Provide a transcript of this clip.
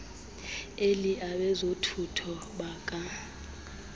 elly abezothutho baka